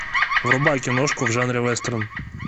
врубай киношку в жанре вестерн